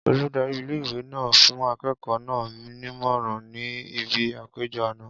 Oludari ìle-ìwe náà ń fún akẹ́kọ̀ọ́ náà nímọ̀ràn ní ibi àpéjọ àná.